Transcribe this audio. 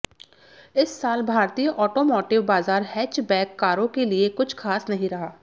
इस साल भारतीय ऑटोमोटिव बाज़ार हैचबैक कारों के लिए कुछ खास नहीं रहा